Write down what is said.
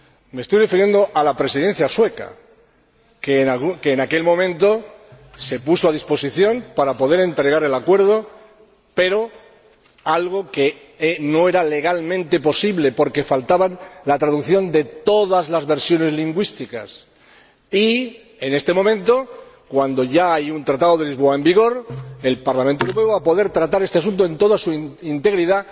Me estoy refiriendo a la Presidencia sueca, que en aquel momento se puso a disposición para poder entregar el acuerdo, pero no fue jurídicamente posible, porque faltaba la traducción de todas la versiones lingüísticas y, en este momento, cuando ya hay un Tratado de Lisboa en vigor, el Parlamento Europeo va a poder tratar este asunto en toda su integridad